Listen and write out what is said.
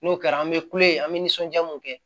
N'o kɛra an bɛ kule an bɛ nisɔndiya mun kɛ